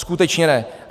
Skutečně ne.